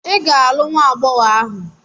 Ị ga-alụ nwa agbọghọ ahụ!